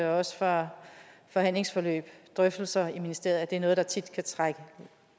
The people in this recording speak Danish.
også fra forhandlingsforløb og drøftelser i ministeriet at det er noget der tit kan trække